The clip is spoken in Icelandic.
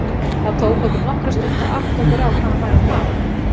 Það tók okkur nokkra stund að átta okkur á hvað hann væri að fara.